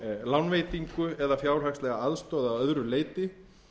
lánveitingu eða fjárhagslega aðstoð að öðru leyti